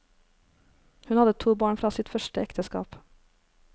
Hun hadde to barn fra sitt første ekteskap.